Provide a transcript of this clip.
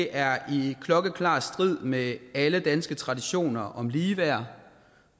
er i klokkeklar strid med alle danske traditioner om ligeværd